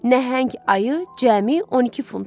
Nəhəng ayı cəmi 12 funta.